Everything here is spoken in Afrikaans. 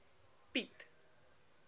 piet